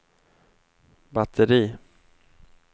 batteri